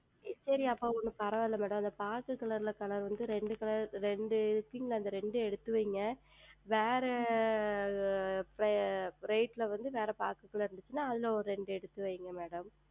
சரி அப்பொழுது ஒன்றும் சரிங்கள் அந்த பாக்கு Color ல இரெண்டு இரெண்டு இரெண்டு எடுத்து வையுங்கள் வேறு Bright ல வந்து வேறு பாக்கு இருந்தால் அதில் இரெண்டு எடுத்து வெய்யுங்கள் Madam